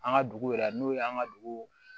An ka dugu yɛrɛ n'o ye an ka dugu